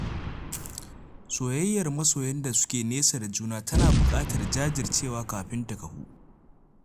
Soyayyar masoyan da suke nesa da juna tana buƙatar jajircewa kafin ta kafu